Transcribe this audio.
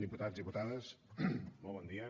diputats diputades molt bon dia